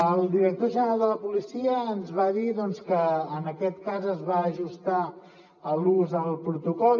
el director general de la policia ens va dir que en aquest cas es va ajustar l’ús al protocol